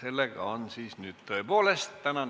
tänane istung on lõppenud.